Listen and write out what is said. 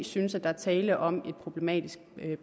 synes at der er tale om en problematisk